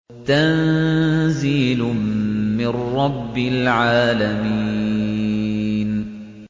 تَنزِيلٌ مِّن رَّبِّ الْعَالَمِينَ